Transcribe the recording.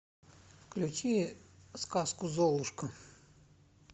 включи сказку золушка